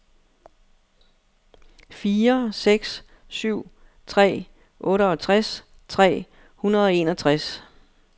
fire seks syv tre otteogtres tre hundrede og enogtres